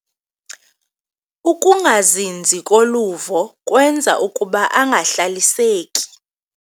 Ukungazinzi koluvo kwenza ukuba angahlaliseki.